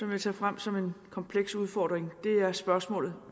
vil tage frem som en kompleks udfordring er spørgsmålet